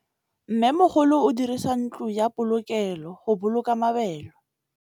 Mmêmogolô o dirisa ntlo ya polokêlô, go boloka mabele.